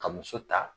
Ka muso ta